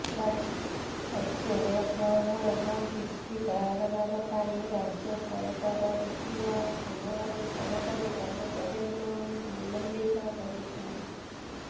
କାର୍ଯ୍ୟରେ ଅବହେଳା ଏବଂ ପିସି କାରବାର ପାଇଁ ରାଜ୍ୟ ସରକାର ବିଭିନ୍ନ ସମୟରେ ସରକାରୀ କର୍ମଚାରୀଙ୍କୁ ନିଲମ୍ବିତ କରୁଛନ୍ତି